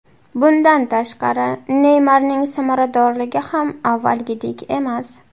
Bundan tashqari, Neymarning samaradorligi ham avvalgidek emas.